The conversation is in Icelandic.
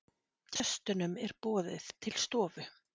Gestunum er boðið til stofu.